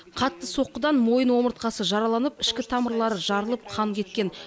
қатты соққыдан мойын омыртқасы жараланып ішкі тамырлары жарылып қан кеткен